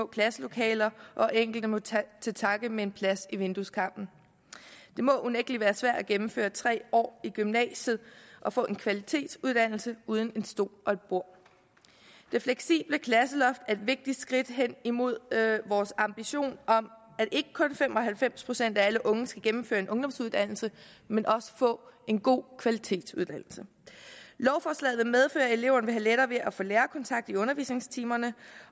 klasselokale hvor enkelte må tage til takke med en plads i vindueskarmen det må unægtelig være svært at gennemføre tre år i gymnasiet og få en kvalitetsuddannelse uden en stol og et bord det fleksible klasseloft er et vigtigt skridt hen imod vores ambition om at fem og halvfems procent af alle unge skal gennemføre en ungdomsuddannelse men også få en god kvalitetsuddannelse lovforslaget vil medføre at eleverne vil have lettere ved at få lærerkontakt i undervisningstimerne